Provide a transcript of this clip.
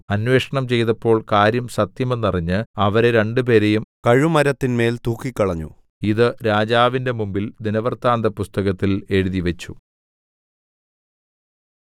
അന്വേഷണം ചെയ്തപ്പോൾ കാര്യം സത്യമെന്ന് അറിഞ്ഞ് അവരെ രണ്ടുപേരെയും കഴുമരത്തിന്മേൽ തൂക്കിക്കളഞ്ഞു ഇത് രാജാവിന്റെ മുമ്പിൽ ദിനവൃത്താന്തപുസ്തകത്തിൽ എഴുതിവെച്ചു